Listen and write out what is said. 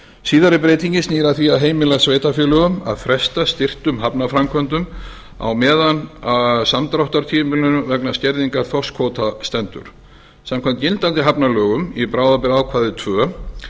síðari breytingin snýr að því að heimila sveitarfélögum að fresta styrktum hafnarframkvæmdum á meðan á samdráttartímabilinu vegna skerðingar þorskkvóta stendur samkvæmt gildandi hafnalögum í bráðabirgðaákvæði tvö